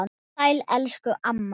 Sæl elsku amma.